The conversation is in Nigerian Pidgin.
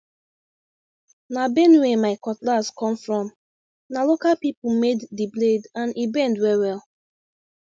na benue my cutlass come fromna local people made the blade and e bend well well